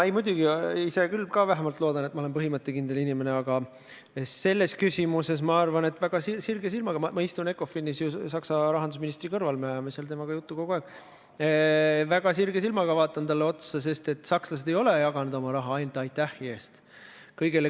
Jaa, muidugi, ma ise küll ka vähemalt loodan, et ma olen põhimõttekindel inimene, aga selles küsimuses ma arvan – ma istun ECOFIN-is ju Saksa rahandusministri kõrval, me ajame seal kogu aeg temaga juttu –, et väga sirge silmaga vaatan talle otsa, sest sakslased ei ole jaganud oma raha ainult aitähi eest.